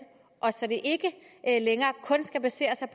så det ikke længere kun skal basere sig